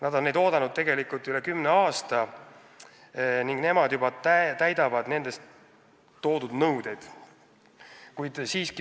Nad on neid muudatusi oodanud üle kümne aasta ning juba täidavad nendes ettepandud nõudeid.